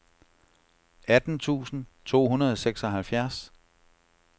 atten tusind to hundrede og seksoghalvfjerds